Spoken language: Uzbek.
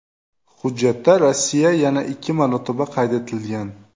Hujjatda Rossiya yana ikki marotaba qayd etilgan.